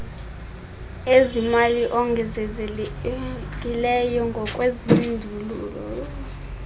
ezimali ongezelelekileyo ngokwezindululo